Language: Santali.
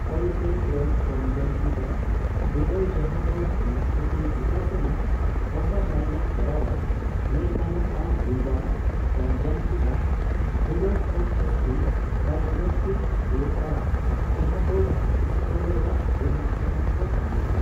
ᱯᱟᱞᱯᱮᱵᱨᱟᱞ ᱠᱚᱱᱡᱟᱝᱴᱤᱵᱷᱟ ᱵᱤᱰᱟᱹᱣ, ᱡᱟᱸᱦᱟ ᱫᱚ ᱢᱮᱸᱫ ᱠᱩᱴᱤ ᱵᱷᱤᱛᱨᱟᱹᱨ ᱥᱮᱱᱟᱜ ᱳᱵᱷᱟᱨ ᱞᱟᱭᱤᱱ ᱮ ᱠᱚᱨᱟᱣᱟ, ᱢᱮᱱ ᱜᱟᱱᱚᱜᱼᱟ ᱵᱩᱞᱵᱟᱞ ᱠᱚᱱᱡᱟᱝ ᱴᱤᱵᱷᱟ ᱵᱤᱰᱟᱹᱣ ᱠᱷᱚᱱᱫᱚ ᱡᱟᱥᱛᱤ ᱰᱟᱭᱟᱜᱽᱱᱚᱥᱴᱤᱠ ᱦᱳᱭᱳᱜᱼᱟ, ᱡᱟᱦᱟᱸ ᱫᱚ ᱥᱠᱚᱞᱮᱨᱟ ᱨᱮᱱᱟᱜ ᱪᱮᱛᱟᱱ ᱨᱮ ᱛᱟᱦᱮᱱᱟ ᱾